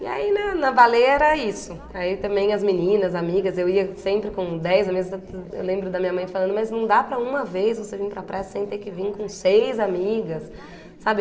E aí na na baleia era isso, aí também as meninas, amigas, eu ia sempre com dez, eu lembro da minha mãe falando mas não dá para uma vez você vir para a praia sem ter que vir com seis amigas sabe?